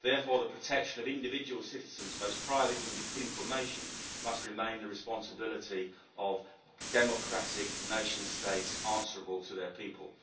Therefore, the protection of individual citizens' most private information must remain the responsibility of democratic nation states answerable to their people.